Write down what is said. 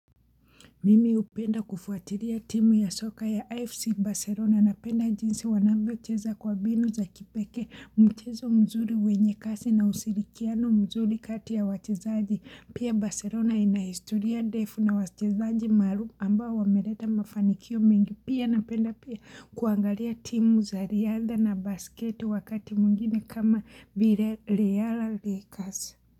Mimi hupenda kufuatilia timu ya soka ya FC Barcelona napenda jinsi wanavyocheza kwa mbinu za kipekee mchezo mzuri wenye kasi na ushirikiano mzuri kati ya wachezaji pia Barcelona ina historia ndefu na wachezaji maarufu ambao wameleta mafanikio mengi pia napenda pia kuangalia timu za riadha na basketi wakati mwingine kama vile real lakers.